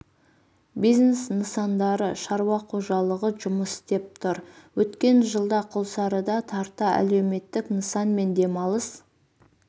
бизнес нысандары шаруа қожалығы жұмыс істеп тұр өткен жылда құлсарыда тарта әлеуметтік нысан мен демалыс